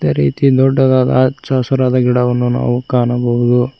ಅದೇ ರೀತಿ ದೊಡ್ಡದಾದ ಹಚ್ಚಹಸುರಾದ ಗಿಡವನ್ನು ನಾವು ಕಾಣಬಹುದು.